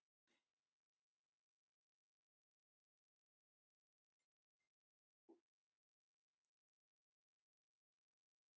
Eftir mikið svalk og marga hljóða formælingu bar okkur að skála